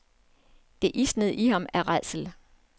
Det isnede i ham af rædsel.